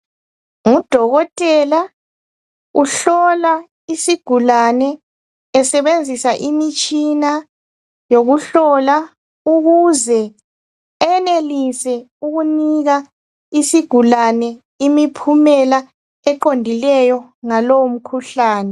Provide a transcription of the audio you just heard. Ngudokotela, uhlola isigulane esebenzisa imitshina yokuhlola, ukuze eyenelise ukunika isigulane imiphumela eqondileyo ngalowo mkhuhlane.